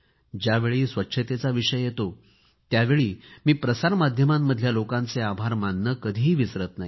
ज्यावेळी स्वच्छतेचा विषयी येतो त्यावेळी मी प्रसार माध्यमातल्या लोकांचे आभार मानणे कधीही विसरत नाही